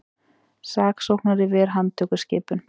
Saksóknari ver handtökuskipun